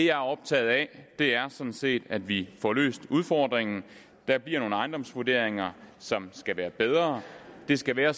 er optaget af er sådan set at vi får løst udfordringen der bliver nogle ejendomsvurderinger som skal være bedre det skal være